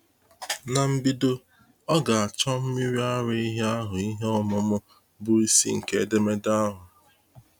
N’mbido, ọ ga-achọ mmiri ara ehi ahụ-ihe ọmụmụ bụ isi nke edemede ahụ.